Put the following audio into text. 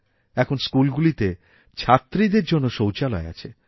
এখনস্কুলগুলিতে ছাত্রীদের জন্য শৌচালয় আছে